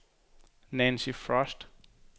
Nancy Frost